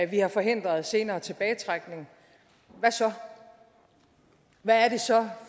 vi har forhindret senere tilbagetrækning og hvad er det så